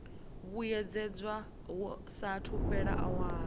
vhuyedzedzwa hu saathu fhela awara